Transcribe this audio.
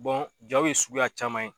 Bɔn jɔ be suguya caman ye